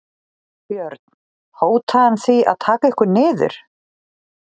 Björn: Hótaði hann því að taka ykkur niður?